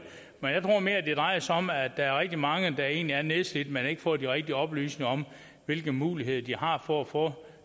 drejer sig om at der er rigtig mange der egentlig er nedslidt men som ikke får de rigtige oplysninger om hvilke muligheder de har for at få